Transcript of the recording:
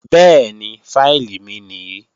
Bẹ́ẹ̀ni, fáìlì mi nìí